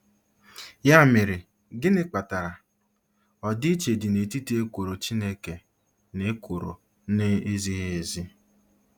Ya mere, gịnị kpatara ọdịiche dị n'etiti ekworo Chineke na ekworo na-ezighị ezi?